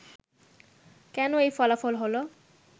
কেন এই ফলাফল হলো